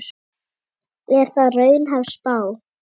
Er það raunhæf spá?